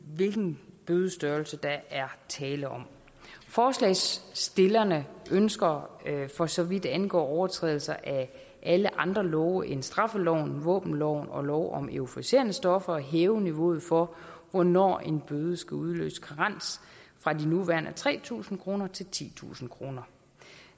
hvilken bødestørrelse der er tale om forslagsstillerne ønsker for så vidt angår overtrædelse af alle andre love end straffeloven våbenloven og lov om euforiserende stoffer at hæve niveauet for hvornår en bøde skal udløse karens fra de nuværende tre tusind kroner til titusind kroner